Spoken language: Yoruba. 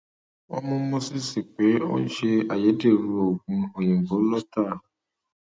wọn mú moses pé ó ń ṣe ayédèrú oògùn òyìnbó lọtà